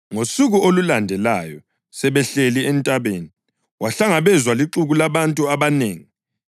Ngosuku olulandelayo sebehlile entabeni, wahlangabezwa lixuku labantu abanengi.